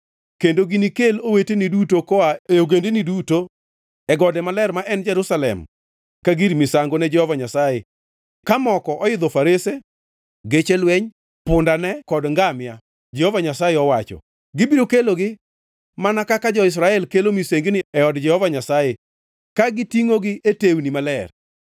Kendo ginikel oweteni duto koa e ogendini duto, e goda maler ma en Jerusalem kaka gir misango ne Jehova Nyasaye ka moko oidho farese, geche lweny, pundane kod ngamia,” Jehova Nyasaye owacho. “Gibiro kelogi mana kaka jo-Israel kelo misengini e od Jehova Nyasaye, ka gitingʼogi e tewni maler.